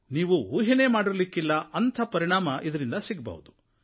ನೀವು ಊಹೆಯನ್ನೇ ಮಾಡಿರದಂಥ ಪರಿಣಾಮ ಇದರಿಂದ ಸಿಗಬಹುದು